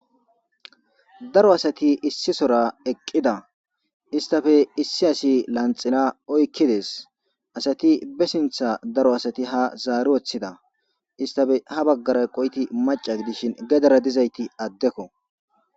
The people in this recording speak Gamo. daro asati issisora eqqida istafe issi asi lanxila oykkides asati be sintha daro asati ha zaari woththida istafe ha baggara eqoyti maca dishin gedara dizayti addekko